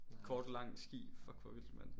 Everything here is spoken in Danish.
Kort lang ski fuck hvor vildt mand